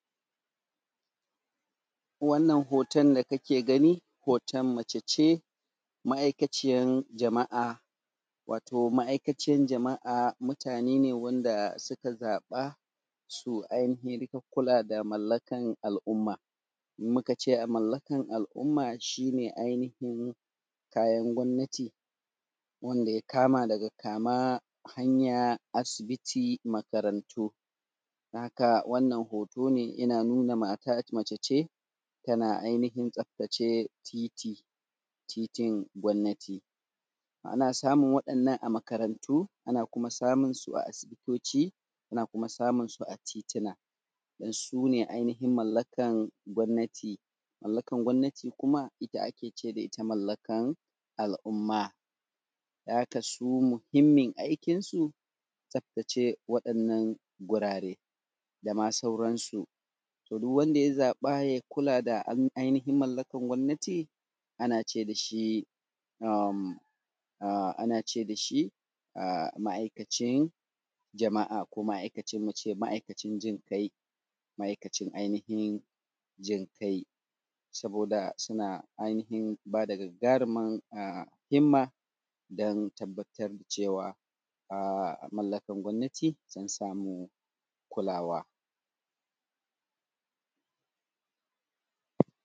Wannan hoton da kake gani hoton mace ce ma’aikaciyar jama’a wato ma’aikaciyar jama’a mutane ne wanda suka zaba su ainihin kula da mallakan al’umma in muka ce mallakan al’umma shi ne ainihin kayan gomnati wanda ya kama daga kama hanya asibiti makarantu. Don haka wannan hoto ne yana nuna mace ce tana ainihin tsaftace titi titin gonnati. Ana samun wadanan a makarantu ana kuma samunsu a asibitoci ana kuma samunsu a tituna don su ne ainihin mallakan gonnati, mallakan gonnati kuma ita ake ce da ita mallakan al’umma don haka su muhimmin aikinsu tsaftace waɗannan gurare dama sauransu. To duk wanda ya zaɓa ya kula ainihin mallakan gonnati ane ce dashi ana ce dashi ma’aikacin jama’a ko muce dashi ma’aikacin jin kai. Saboda suna ainihin bada gagaruman a himma don tabbatar cewa a mallakan gomnati sun samu kulawa.